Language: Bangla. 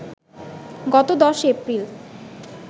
গত ১০ এপ্রিল